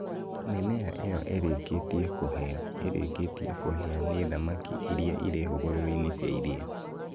Mĩmera ĩyo ĩrĩkĩtie kũhĩa ĩrĩkĩtie kũhĩa nĩ thamaki iria irĩ hũgũrũrũ-inĩ cia iria.